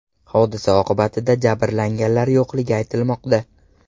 Hodisa oqibatida jabrlanganlar yo‘qligi aytilmoqda.